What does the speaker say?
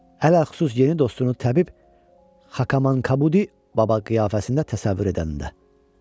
Ələxüsus yeni dostunu təbib Xakamankabudi baba qiyafəsində təsəvvür edəndə.